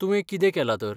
तुवें कितें केलां तर ?